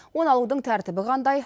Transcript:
оны алудың тәртібі қандай